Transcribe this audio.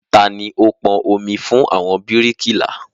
Tani ó pọn omi fún àwọn bíríkìlà?